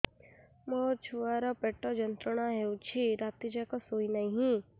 ମୋ ଛୁଆର ପେଟ ଯନ୍ତ୍ରଣା ହେଉଛି ରାତି ଯାକ ଶୋଇନାହିଁ